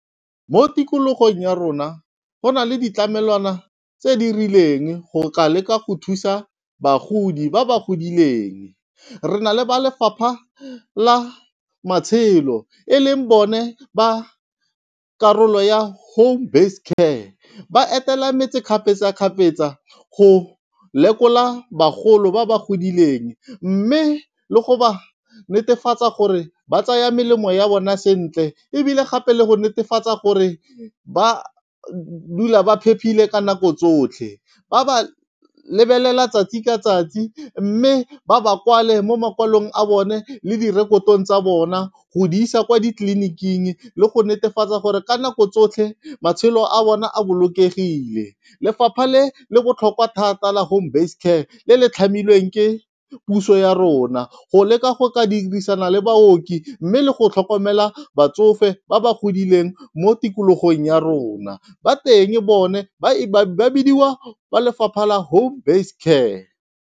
Mo tikologong ya rona go na le ditlamelwana tse di rileng go ka leka go thusa bagodi ba ba godileng. Re na le ba lefapha la matshelo e leng bone ba karolo ya home base care. Ba etela metse kgapetsa-kgapetsa go lekola bagolo ba ba godileng, mme le go ba netefatsa gore ba tsaya melemo ya bona sentle, ebile gape le go netefatsa gore ba dula ba phepile ka nako tsotlhe. Ba ba lebelela tsatsi ka tsatsi mme ba ba kwale mo mokwalong a bone le direkotong tsa bona go di isa kwa ditleliniking, le go netefatsa gore ka nako tsotlhe matshelo a bona a bolokegile. Lefapha le le botlhokwa thata la home based care le le tlhamilweng ke puso ya rona, go leka go ka dirisana le baoki mme le go tlhokomela batsofe ba ba godileng mo tikologong ya rona. Ba teng bone ba bidiwa ba lefapha la home based care.